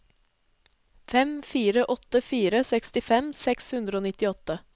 fem fire åtte fire sekstifem seks hundre og nittiåtte